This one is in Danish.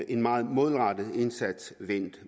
en meget målrettet indsats